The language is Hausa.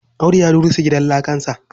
Audu ya rusa gidan lakarsa.